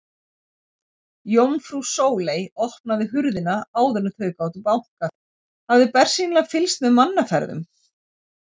Jómfrú Sóley opnaði hurðina áður en þau gátu bankað, hafði bersýnilega fylgst með mannaferðum.